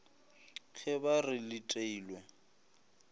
ge ba re le teilwe